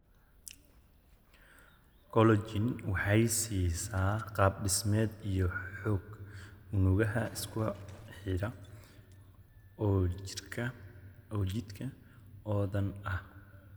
Collagen waxay siisaa qaab dhismeed iyo xoog unugyo isku xidhan oo jidhka oo dhan ah.